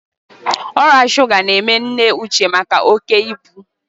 Ọrịa shuga ga-eme nne Uche maka oké ibu.